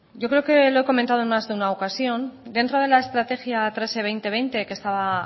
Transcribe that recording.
yo creo que lo he comentado en más de alguna ocasión dentro de la estrategia dos mil veinte que estaba